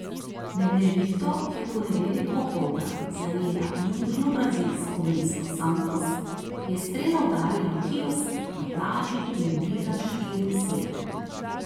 Med nevihto, ki je v ponedeljek popoldan zajela južno brazilsko mesto Santos, je strela udarila v kiosk na plaži in ubila štiri osebe.